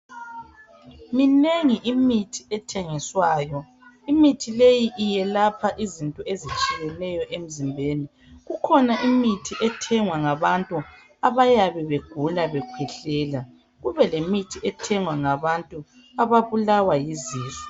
Minengi imithi ethengiswayo imithi leyi iyelapha izinto ezitshiyeneyo emzimbeni kukhona imithi ethengwa ngabantu abayabe begula bekhwehlela kube lemithi ethengwa ngabantu abayabe bebulawa yizisu.